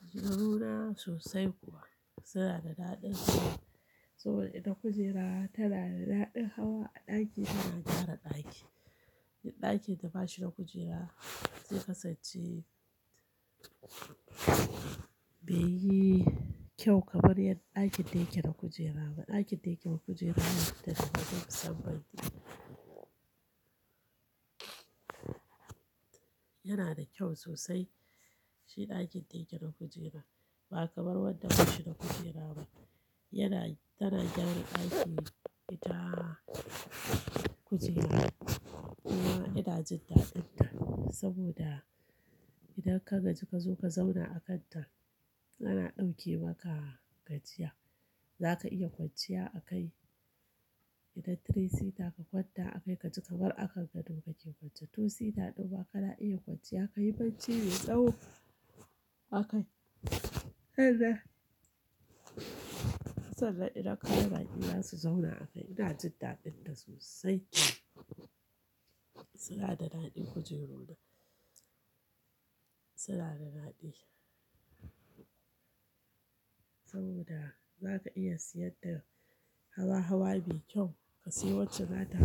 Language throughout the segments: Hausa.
Kujeru na sosai kuwa, suna da daɗi saboda ita kujera tana da daɗin hawa a ɗaki tana gyara ɗaki. Duk ɗakin da bashi da kujera zai kasance bai yi kyau kamar yad ɗakin da yake na kujera. Ɗakin da yake da kujera yana fita daban na musamman ne yana da kyau sosai. Shi ɗakin da yake na kujera ba kamar wanda bashi da kujera ba yana tana gyara ɗaki ita kujera kuma ina jin daɗin ta saboda idan ka gaji kazo ka zauna a kan ta ana ɗauke maka gajiya. Zaka iya kwanciya a kai idan tthree sitter ka kwanta a kai kaji kamar a kan gado kake kwance twositter ɗima kana iya kwanciya, ka yi barci me tsawo a kai. Sannan sannan idan ka yi baki zasu zauna a kai ina jin daɗin ta sosai. Suna da daɗin kujeru na suna da daɗi saboda zaka iya siyan ta hawa hawa mai kyau. Ka sayo wacce za ta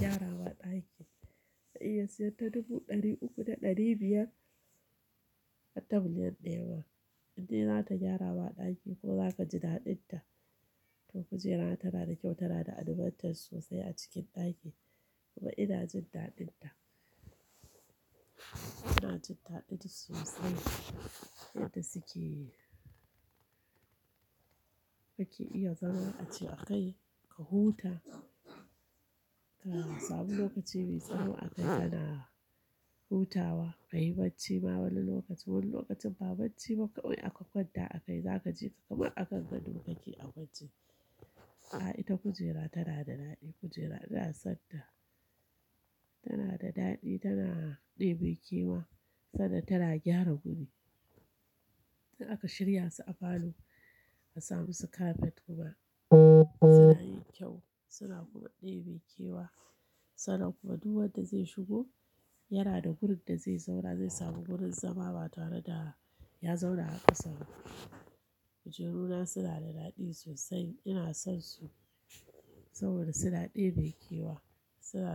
gyarawa ɗaki ka iya siyan ta dubu ɗari uku da ɗari biyar har ta miliyan daya ma. Indai za gyarawa ɗaki ko zaka ji daɗin ta to kujera tana da kyau tana da advantage sosai a cikin ɗaki kuma ina jin daɗin ta. Ina jin daɗin sosai yadda suke ake iya zama a ci a kai ka huta ka sami lokaci mai tsawo a kai kana hutawa ka yi barci ma wani lokaci wani lokacin ba barci ba kawai aka kwanta a kai za ka ji ka kamar a kan gado kake a waje. A ita kujera tana da daɗi kujera ina son ta tana da daɗi tana ɗebe kewa sannan tana gyara guri. In aka shirya su a falo a samu su kafet kuma suna yin kyau suna kuma ɗebe kewa sannan kuma duk wanda zai shigo yana da gurin da zai zauna zai samu gurin zama ba tare da ya zauna a ƙasan ba. Kujeru na suna da daɗi sosai ina son su saboda suna ɗebe kewa suna.